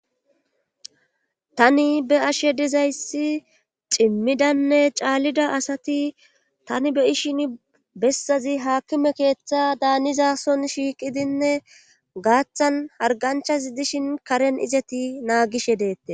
Tani be ashe dizayssi cimmidanne caallida asati tani be ishin bessazi haakkime keeththa daanizason shiiqidinne gaaththan harganchas dishin karen izeti naagishe deette